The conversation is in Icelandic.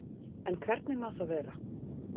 En hvernig má það vera?